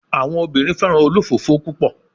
Awọn obinrin fẹran olofofo pupọ